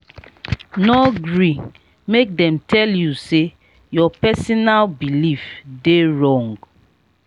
no gree make dem tell you sey your personal belif dey wrong.